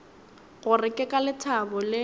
gore ke ka lethabo le